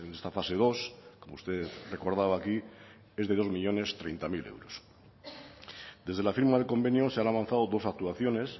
esta fase dos como usted recordaba aquí es de dos millónes treinta mil euros desde la firma del convenio se han avanzado dos actuaciones